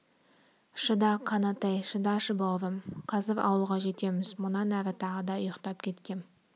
шыда қанатай шыдашы бауырым қазір ауылға жетеміз мұнан әрі тағы да ұйықтап кеткем